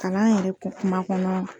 Kalan yɛrɛ ko kuma kɔnɔna na